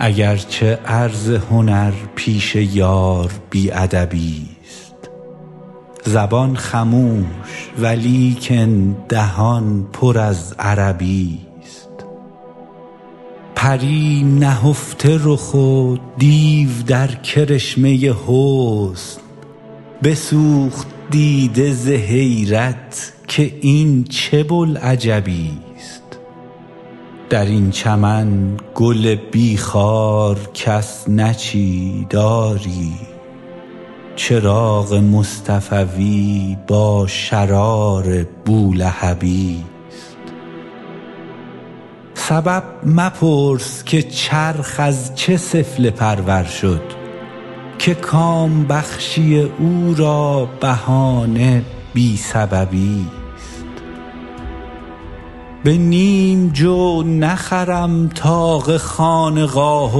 اگر چه عرض هنر پیش یار بی ادبی ست زبان خموش ولیکن دهان پر از عربی ست پری نهفته رخ و دیو در کرشمه حسن بسوخت دیده ز حیرت که این چه بوالعجبی ست در این چمن گل بی خار کس نچید آری چراغ مصطفوی با شرار بولهبی ست سبب مپرس که چرخ از چه سفله پرور شد که کام بخشی او را بهانه بی سببی ست به نیم جو نخرم طاق خانقاه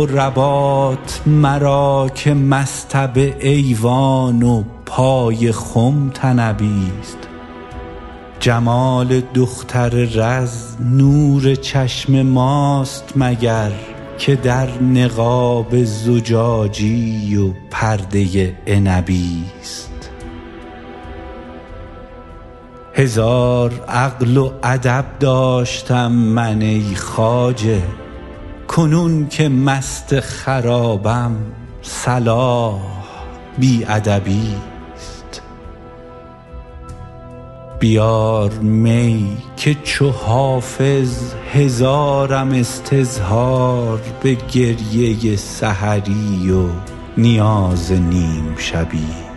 و رباط مرا که مصطبه ایوان و پای خم طنبی ست جمال دختر رز نور چشم ماست مگر که در نقاب زجاجی و پرده عنبی ست هزار عقل و ادب داشتم من ای خواجه کنون که مست خرابم صلاح بی ادبی ست بیار می که چو حافظ هزارم استظهار به گریه سحری و نیاز نیم شبی ست